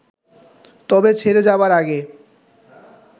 তবে ছেড়ে যাবার আগে